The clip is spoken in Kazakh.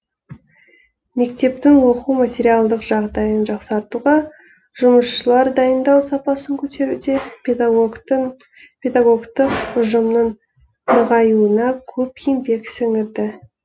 мектептің оқу материалдық жағдайын жақсартуға жұмысшылар дайындау сапасын көтеруде педагогтың педагогтық ұжымның нығаюына көп еңбек сіңірді